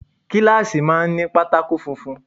Kíláàsì máa ń ní pátákó funfun.